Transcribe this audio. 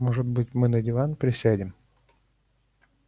может быть мы на диван присядем